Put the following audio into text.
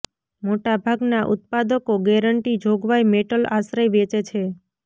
મોટા ભાગના ઉત્પાદકો ગેરંટી જોગવાઈ મેટલ આશ્રય વેચે છે